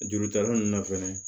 Jurutala ninnu na fɛnɛ